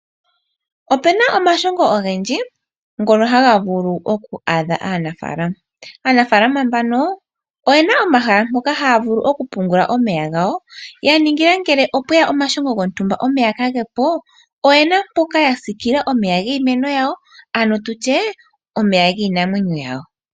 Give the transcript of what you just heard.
Opena omashongo ogendji ngono haga vulu oku adha aanafalama. Aanafalama mbano oyena omahala mpoka haya vulu oku pungula omeya gawo, ya ningila ngele opweya omashongo gontumba omeya kaage po oyena mpoka ya sikila omeya giimeno yawo ano tutye omeya giinamwenyo yawo.